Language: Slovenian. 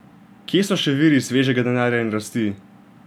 Kje so še viri svežega denarja in rasti?